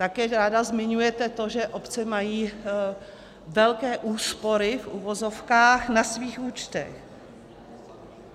Také ráda zmiňujete to, že obce mají velké úspory, v uvozovkách, na svých účtech.